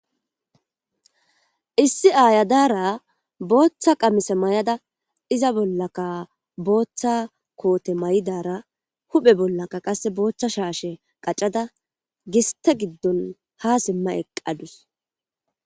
issi aaya daara booththa qamise may7ada iza bollaka booththa koote may7idara huphe bollaka qasse booththa shaashe qacada giste giddon ha simma eqqadus